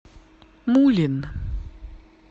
мулин